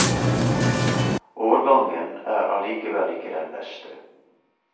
Årgangen er allikevel ikke den beste.